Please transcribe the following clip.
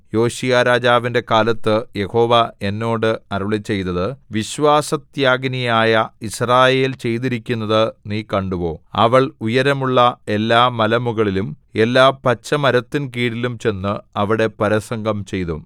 യോശീയാരാജാവിന്റെ കാലത്ത് യഹോവ എന്നോട് അരുളിച്ചെയ്തത് വിശ്വാസത്യാഗിനിയായ യിസ്രായേൽ ചെയ്തിരിക്കുന്നതു നീ കണ്ടുവോ അവൾ ഉയരമുള്ള എല്ലാമലമുകളിലും എല്ലാ പച്ചമരത്തിൻകീഴിലും ചെന്ന് അവിടെ പരസംഗം ചെയ്തു